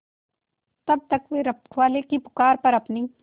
तब तक वे रखवाले की पुकार पर अपनी